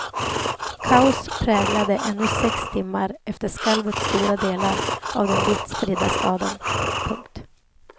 Kaos präglade ännu sex timmar efter skalvet stora delar av den vitt spridda staden. punkt